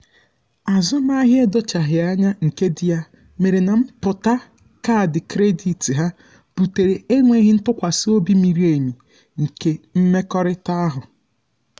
azụmahịa edochaghi anya um nke dị ya um mere na mpụta kaadị kredit ha butere enweghị ntụkwasị obi miri emi nke mmekọrịta um ahụ